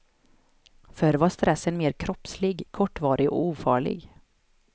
Förr var stressen mer kroppslig, kortvarig och ofarlig.